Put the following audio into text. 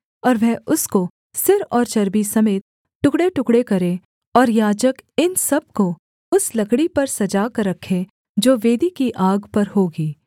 और वह उसको सिर और चर्बी समेत टुकड़ेटुकड़े करे और याजक इन सब को उस लकड़ी पर सजा कर रखे जो वेदी की आग पर होगी